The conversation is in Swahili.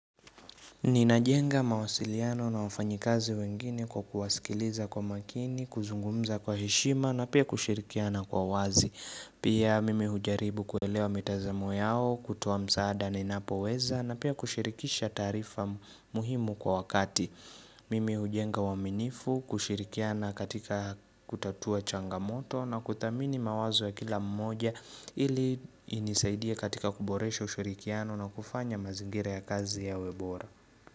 Ninajenga mawasiliano na wafanyikazi wengine kwa kuwasikiliza kwa makini, kuzungumza kwa heshima na pia kushirikiana kwa wazi. Pia mimi hujaribu kuelewa mitazamo yao, kutoa msaada ninapo weza na pia kushirikisha taarifa muhimu kwa wakati. Mimi hujenga waminifu, kushirikiana katika kutatua changamoto na kuthamini mawazo ya kila mmoja ili inisaidia katika kuboresha ushirikiano na kufanya mazingira ya kazi yawe bora.